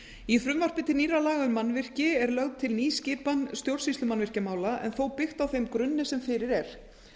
í frumvarpi til nýrra laga um mannvirki er lögð til ný skipan um stjórnsýslu mannvirkjamála en þó byggt á þeim grunni sem fyrir er